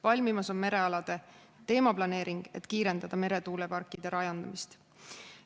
Valmimas on merealade teemaplaneering, et kiirendada meretuuleparkide rajamist.